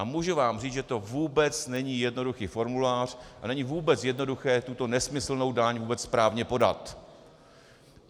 A můžu vám říct, že to vůbec není jednoduchý formulář a není vůbec jednoduché tuto nesmyslnou daň vůbec správně podat.